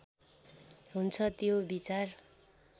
हुन्छ त्यो विचार